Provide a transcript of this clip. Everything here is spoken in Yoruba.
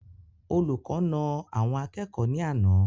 Olùkọ naa àwọn akẹ́kọ̀ọ́ ní àná